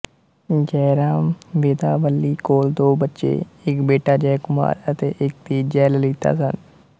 ਜੈਰਾਮਵੇਦਾਵੱਲੀ ਕੋਲ ਦੋ ਬੱਚੇ ਇੱਕ ਬੇਟਾ ਜੈਅਕੁਮਾਰ ਅਤੇ ਇੱਕ ਧੀ ਜੈਲਲਿਤਾ ਸਨ